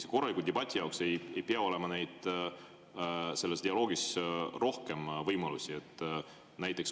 Kas korraliku debati jaoks ei pea selles dialoogis olema rohkem võimalusi?